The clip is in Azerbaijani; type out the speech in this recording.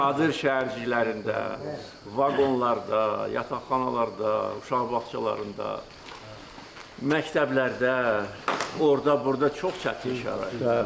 Çadır şəhərciklərində, vaqonlarda, yataqxanalarda, uşaq bağçalarında, məktəblərdə, orda-burda çox çətin şəraitdə.